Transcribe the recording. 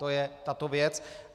To je tato věc.